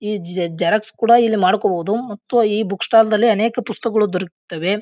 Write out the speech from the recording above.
ಈ ಜ ಜೆರಾಕ್ಸ್ ಕೂಡ ಇಲ್ಲಿ ಮಾಡ್ಕೊಬೋದು ಮತ್ತು ಈ ಬುಕ್ ಸ್ಟಾಲ್ ದಲ್ಲಿ ಅನೇಕ ಪುಸ್ತಕಗಳು ದೊರೆಯುತ್ತವೆ.